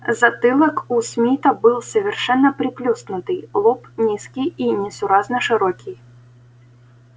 затылок у смита был совершенно приплюснутый лоб низкий и несуразно широкий